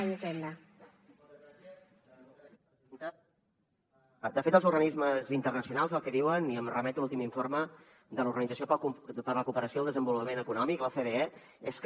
de fet els organismes internacionals el que diuen i em remeto a l’últim informe de l’organització per la cooperació al desenvolupament econòmic l’ocde és que